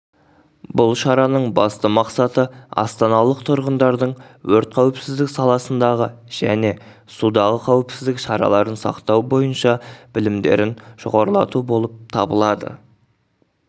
бұл шараның басты мақсаты астаналық тұрғындардың өрт қауіпсіздік саласындағы және судағы қауіпсіздік шараларын сақтау бойынша білімдерін жоғарылату болып табылады